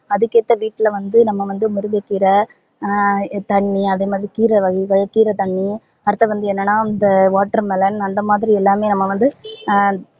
அதுக்கு ஏத்த வீட்ல வந்து நம்ப வந்து முருங்க கீர ஹம் தண்ணீ அத மாதிரி கீர வகைகள் கீர தண்ணீ அடுத்தது வந்து என்னனா இந்த watermelon அந்த மாதிரி எல்லாமே நம்ம வந்து ஹம்